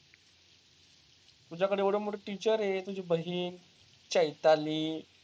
तुझ्याकडं एवढं मोठी टीचर आहे तुझी बाहणी चैताली.